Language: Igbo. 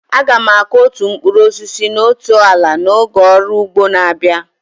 Aga m akụ otu mkpụrụ osisi na otu ala n'oge ọrụ ugbo na-abịa.